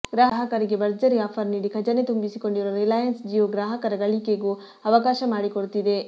ಗ್ರಾಹಕರಿಗೆ ಭರ್ಜರಿ ಆಫರ್ ನೀಡಿ ಖಜಾನೆ ತುಂಬಿಸಿಕೊಂಡಿರುವ ರಿಲಾಯನ್ಸ್ ಜಿಯೋ ಗ್ರಾಹಕರ ಗಳಿಕೆಗೂ ಅವಕಾಶ ಮಾಡಿಕೊಡ್ತಿದೆ